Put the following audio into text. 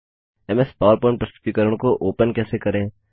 MS PowerPoint प्रस्तुतिकरण को open कैसे करें